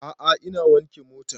A'a ina wanke motan